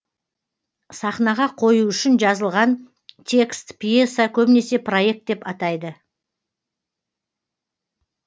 сахнаға қою үшін жазылған текст пьеса көбінесе проект деп атайды